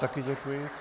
Také děkuji.